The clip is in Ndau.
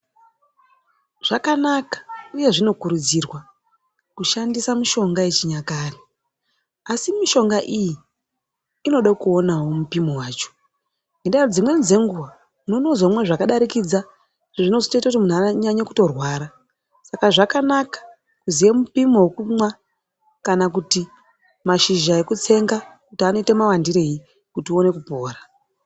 Zvakanaka uye zvinokurudzirwa kushandisa mishonga yechinyakare. Asi mishonga iyi inode kuonavo mipimo vacho ngendaa yekuti dzimweni dzenguva unozomwa zvakadarikidza zvinozotoita kuti muntu anyanye kutorwara. Saka zvakanaka kuziye mupimo vekumwa kana kuti mashizha ekutsenga kuti anoita mawandirei kuti uone kupora.